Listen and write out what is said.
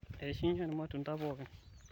eishunye irmatunda pokin